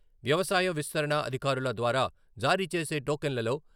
వ్యవసాయ విస్తరణ అధికారుల ద్వారా జారీ చేసే టోకన్లలో....